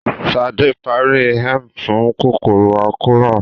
Ṣadé parí Emgyl fún kòkòrò àkóràn